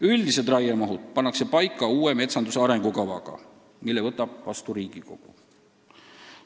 Üldised raiemahud pannakse paika uue metsanduse arengukavaga, mille võtab vastu Riigikogu.